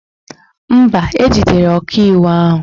Mba, ejidere ọkaiwu ahụ